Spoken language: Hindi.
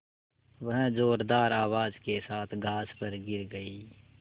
वह ज़ोरदार आवाज़ के साथ घास पर गिर गई